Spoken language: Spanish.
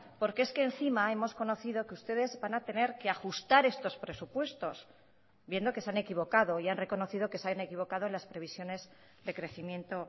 porque es que encima hemos conocido que ustedes van a tener que ajustar estos presupuestos viendo que se han equivocado y han reconocido que se han equivocado en las previsiones de crecimiento